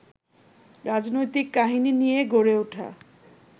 রাজনৈতিক কাহিনী নিয়ে গড়ে উঠা